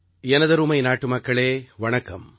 எனதருமை நாட்டுமக்களே வணக்கம்